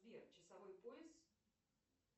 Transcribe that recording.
сбер часовой пояс